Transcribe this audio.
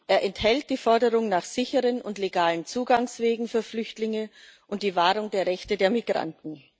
Er enthält die Forderung nach sicheren und legalen Zugangswegen für Flüchtlinge und die Wahrung der Rechte der Migranten.